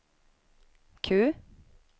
Q